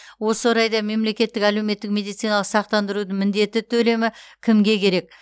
осы орайда мемлекеттік әлеуметтік медициналық сақтандыру міндетті төлемі кімге керек